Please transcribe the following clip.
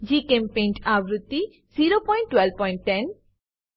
જીચેમ્પેઇન્ટ આવૃત્તિ 01210